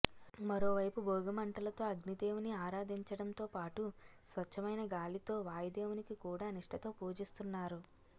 మరో వైపు భోగిమంటలతో అగ్నిదేవుని ఆరాధించడం తో పాటు స్వచ్ఛమైన గాలి తో వాయుదేవునికి కూడా నిష్టతో పూజిస్తున్నారు